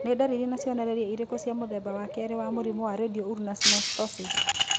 Nĩ ndariri na cionereria irĩkũ cia mũthemba wa kerĩ wa mũrimũ wa Radio ulnar synostosis?